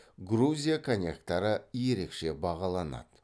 грузия коньяктары ерекше бағаланады